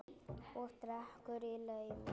Og drekkur í laumi.